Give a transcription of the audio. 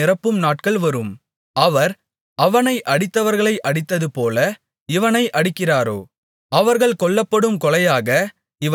அவர் அவனை அடித்தவர்களை அடித்ததுபோல இவனை அடிக்கிறாரோ அவர்கள் கொல்லப்படும் கொலையாக இவன் கொல்லப்படுகிறானோ